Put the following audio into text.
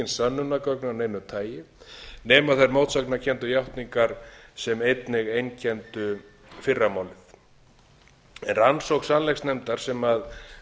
sönnunargögn af neinu tagi nema þær mótsagnakenndu játningar sem einnig einkenndu fyrra málið rannsókn sannleiksnefndar sem við